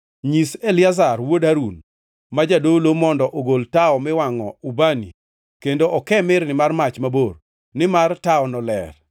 “Nyis Eliazar wuod Harun, ma jadolo, mondo ogol tawo miwangʼo ubani kendo okee mirni mar mach mabor, nimar tawono ler